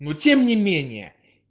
но тем не менее